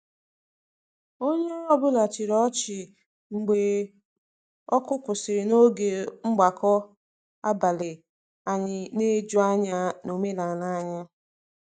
Onye ọ bụla chịrị ọchị mgbe oku kwụsịrị n'oge mgbakọ abalị anyị na-eju anya na omenala anyị.